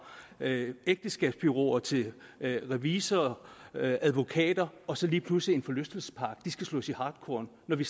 ægteskabsbureauer til revisorer og advokater og så lige pludselig en forlystelsespark og de skal slås i hartkorn når vi